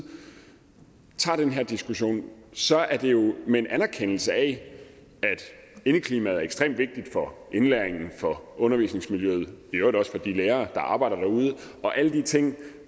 tager den her diskussion så er det jo med en anerkendelse af at indeklimaet er ekstremt vigtigt for indlæringen for undervisningsmiljøet og i øvrigt også for de lærere der arbejder derude og alle de ting